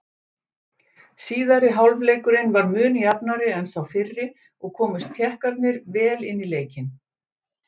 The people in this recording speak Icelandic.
Síðari hálfleikurinn var mun jafnari en sá fyrri og komust Tékkarnir vel inn í leikinn.